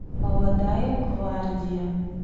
молодая гвардия